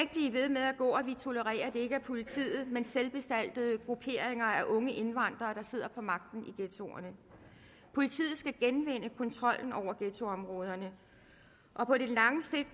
med at gå at vi tolererer at det ikke er politiet men selvbestaltede grupperinger af unge indvandrere der sidder på magten i ghettoerne politiet skal genvinde kontrollen over ghettoområderne og på lang sigt